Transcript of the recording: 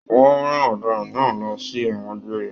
Wọn rán ọdaràn náà lọ sí ẹwọn gbéré.